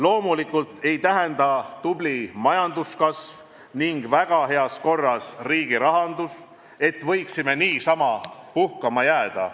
Loomulikult ei tähenda tubli majanduskasv ning väga heas korras riigirahandus, et võiksime niisama puhkama jääda.